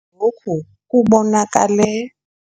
Lokhu kubonakale.